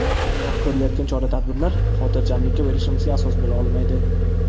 Biroq ko‘rilayotgan chora-tadbirlar xotirjamlikka berilishimizga asos bo‘lolmaydi”.